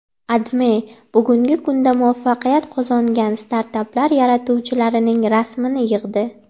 AdMe bugungi kunda muvaffaqiyat qozongan startaplar yaratuvchilarining rasmini yig‘di.